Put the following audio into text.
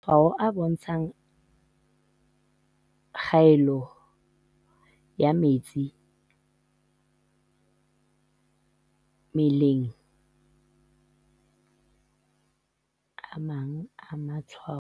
Matshwao a bontshang kgaello ya metsi mmelengA mang a matshwao a pele a bontshang kgaello ya metsi mmeleng a akga.